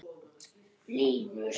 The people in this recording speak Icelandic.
Gangi þér allt í haginn, Hjálmgerður.